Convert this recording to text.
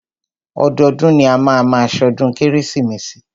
Ọdọọdún ni a máa má ṣọdún kérésìmesì.